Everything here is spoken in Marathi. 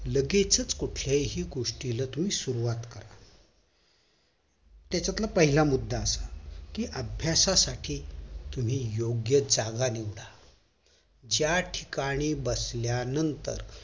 लगेचच कोठल्याही गोष्टीला तुम्ही सुरवात करा त्याच्यातला पहिला मुद्द असा कि अभ्यासासाठी तुम्ही योग्य जागा निवडा ज्या ठिकाणी बसल्या नंतर